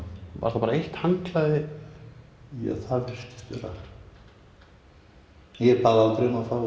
var þá bara eitt handklæði ja það virtist vera ég bað aldrei um að fá